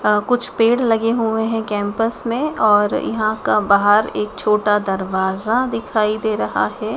अ कुछ पेड़ लगे हुए हैं कैंपस में और यहां का बाहर एक छोटा दरवाजा दिखाई दे रहा है।